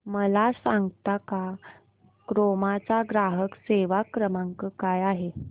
मला सांगता का क्रोमा चा ग्राहक सेवा क्रमांक काय आहे